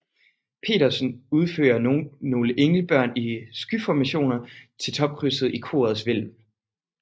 Petersen udføre nogle englebørn i skyformationer til topkrydset i korets hvælv